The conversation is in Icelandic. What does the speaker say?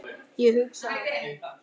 Ég hugsa að